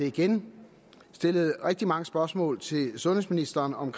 igen stillet rigtig mange spørgsmål til sundhedsministeren om